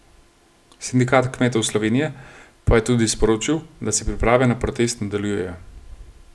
Sindikat kmetov Slovenije pa je tudi sporočil, da se priprave na protest nadaljujejo.